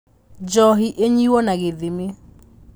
Njohi ĩnyuo na gĩthimi